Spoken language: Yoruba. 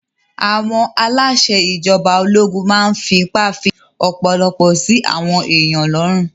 Àwọn aláṣẹ ìjọba ológun máa n fipá fí ọ̀pọ̀lọpọ̀ sí àwọn èèyàn lọ́rùn